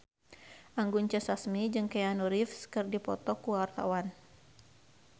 Anggun C. Sasmi jeung Keanu Reeves keur dipoto ku wartawan